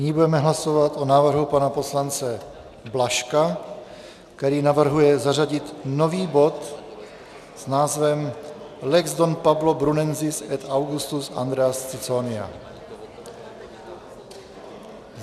Nyní budeme hlasovat o návrhu pana poslance Blažka, který navrhuje zařadit nový bod s názvem Lex Don Pablo Brunensis et Augustus Andreas Ciconia.